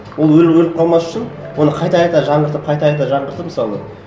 ол өліп қалмас үшін оны қайта қайта жаңғыртып қайта қайта жаңғыртып мысалы